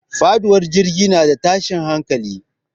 Faɗuwar jirgi na da tashin hankali.